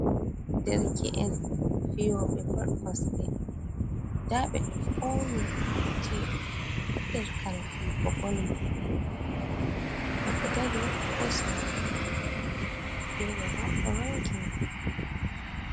Darke’en fiyobe bal kosde, da ɓe do fauni fatti ha nder kare fiyugo bol maɓɓe ɓe do dari hosa hoto wobbe fere bo ɗo rongini.